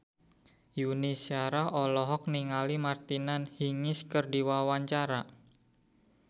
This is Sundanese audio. Yuni Shara olohok ningali Martina Hingis keur diwawancara